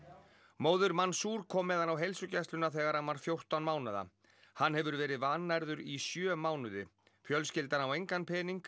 móðir kom með hann á heilsugæsluna þegar hann var fjórtán mánaða hann hefur verið vannærður í sjö mánuði fjölskyldan á engan pening